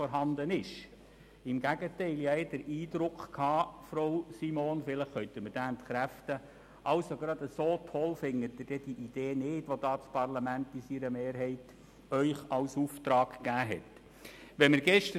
Ich hatte im Gegenteil vielmehr den Eindruck, Frau Simon – vielleicht können Sie ihn entkräften –, dass Sie diese Idee, die das Parlament in seiner Mehrheit Ihnen in Auftrag gegeben hat, nicht so toll finden.